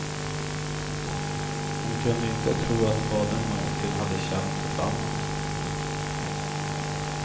Hon kunde inte tro att fadern någonsin hade känt detsamma.